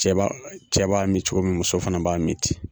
Cɛ b'a cɛ b'a min cogo min muso fana b'a min ten.